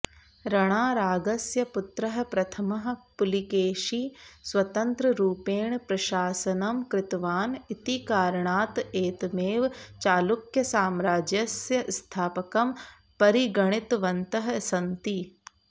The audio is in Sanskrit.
रणारागस्य पुत्रः प्रथमः पुलिकेशि स्वतन्त्ररुपेण प्रशासनम् कृतवान इति कारणात् एतमेव चालुक्यसाम्राज्यस्य स्थापकम् परिगणितवन्तः सन्ति